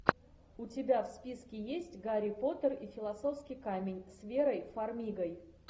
у тебя в списке есть гарри поттер и философский камень с верой фармигой